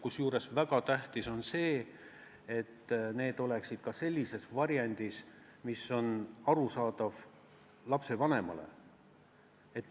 Kusjuures väga tähtis on, et see kõik oleks sellises variandis, mis on arusaadav ka lapsevanemale.